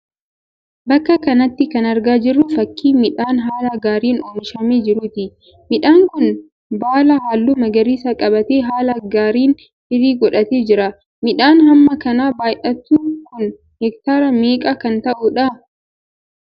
Bakka kanatti kan argaa jirru fakkii midhaan haala gaariin oomishamee jiruuti. Midhaan kun baala halluu magariisa qabaatee haala gaariin firii godhatee jira. Midhaan hamma kana baay'atu kun hektaara meeqa kan ta'uudha?